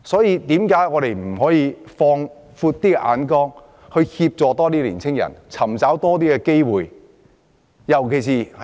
為何我們不可以放遠眼光，協助青年人尋找更多機會？